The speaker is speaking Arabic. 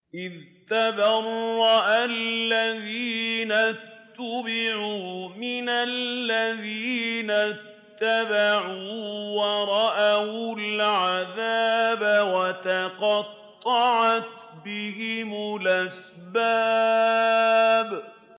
إِذْ تَبَرَّأَ الَّذِينَ اتُّبِعُوا مِنَ الَّذِينَ اتَّبَعُوا وَرَأَوُا الْعَذَابَ وَتَقَطَّعَتْ بِهِمُ الْأَسْبَابُ